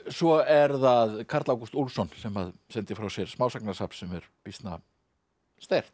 svo er það Karl Ágúst Úlfsson sem sendi frá sér smásagnasafn sem er býsna sterkt